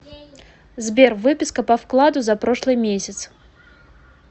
сбер выписка по вкладу за прошлый месяц